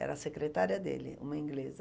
Era a secretária dele, uma inglesa.